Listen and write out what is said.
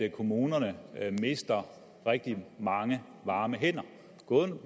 at kommunerne mister rigtig mange varme hænder